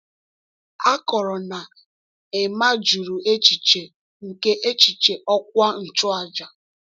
A kọrọ na Emma jụrụ echiche nke echichi ọkwa nchụaja.